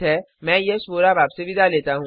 मैं यश वोरा अब आपसे विदा लेता हूँ